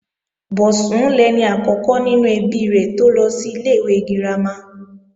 Bọ̀sún lẹni àkọ́kọ́ nínú ẹbí rẹ̀ tó lọ sí ilé-ìwé girama